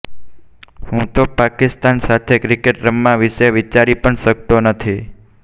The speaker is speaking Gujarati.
હું તો પાકિસ્તાન સાથે ક્રિકેટ રમવા વિશે વિચારી પણ શકતો નથી